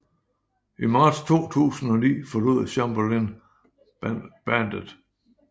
I marts 2009 forlod Chamberlin bandet